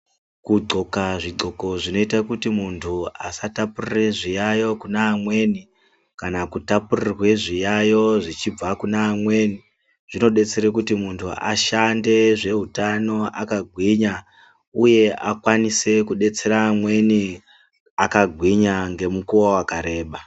Kudxoka zvidxoko zvinoita kuti muntu asatapurire zviyaiyo kune vamweni kana kutapurirwe zviyaiyo zvichibva kune amweni zvinodetsera kuti muntu ashande zveutano akagwinya uye muntu akwanise kudetsera amweni akagwinya ngemukuwo wakareba.